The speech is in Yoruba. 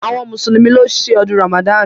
Awọn mùsùlùmí ló ṣe ọdún Ramadan.